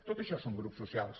tot això són grups socials